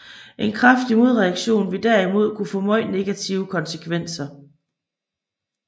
En kraftig modaktion ville derimod kunne få meget negative konsekvenser